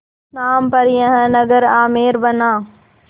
नाम पर यह नगर आमेर बना